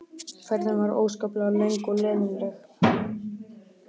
Ferðin var óskaplega löng og leiðinleg.